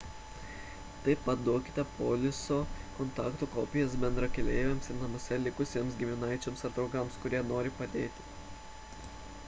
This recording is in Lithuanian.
taip pat duokite poliso / kontaktų kopijas bendrakeleiviams ir namuose likusiems giminaičiams ar draugams kurie nori padėti